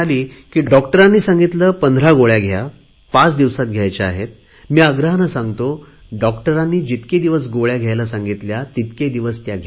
डॉक्टरने सांगितले पंधरा गोळ्या घ्या पाच दिवसात घ्यायच्या आहेत मी आग्रहाने सांगतो डॉक्टरांनी जितके दिवस गोळ्या घ्यायला सांगितल्या तितके दिवस घ्या